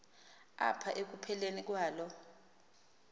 apha ekupheleni kwalo